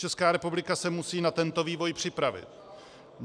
Česká republika se musí na tento vývoj připravit.